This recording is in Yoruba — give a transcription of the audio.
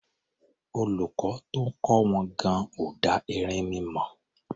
Olùkọ́ tó ń kọ́ wọn gan-an ò dá erinmi mọ̀.